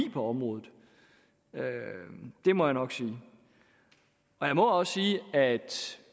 på området det må jeg nok sige jeg må også sige at